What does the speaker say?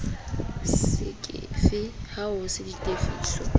fekese ha ho se ditefiso